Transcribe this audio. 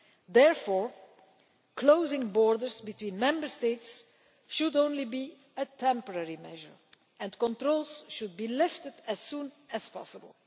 Therefore, closing borders between Member States should be only a temporary measure, and controls should be lifted as soon as possible.